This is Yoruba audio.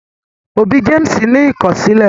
òbí James ni ikọsilẹ.